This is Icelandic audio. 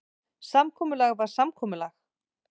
Samkomulag var samkomulag.